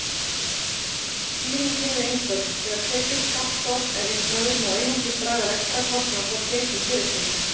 Skýringin er einföld: Þegar tekjuskattsstofn er reiknaður má einungis draga rekstrarkostnað frá tekjum fyrirtækja.